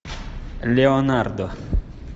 леонардо